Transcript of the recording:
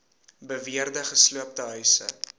beweerde gesloopte huise